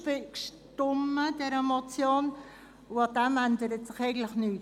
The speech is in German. Daran ändert sich eigentlich nichts.